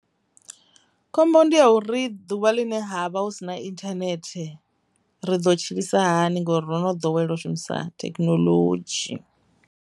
Khombo ndi ya uri ḓuvha ḽine ha vha hu si na internet ri ḓo tshilisa hani ngori ro no dowela u shumisa thekinoḽodzhi.